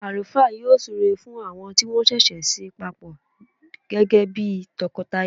Àlùfáà yọ súre fún àwọn tí wọ́n ṣẹ̀ṣẹ̀ so papọ gẹ́gẹ́ bí tọkọtaya